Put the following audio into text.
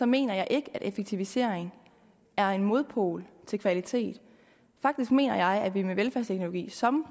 mener jeg ikke at effektivisering er en modpol til kvalitet faktisk mener jeg at vi med velfærdsteknologi som